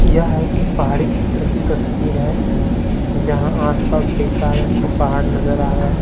यह एक पहाड़ी छेत्र कि तस्वीर है जहा आस पास कई सारे हम को पहाड़ नजर आ रहे है ।